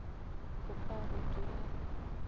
o ka re di a